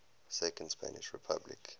second spanish republic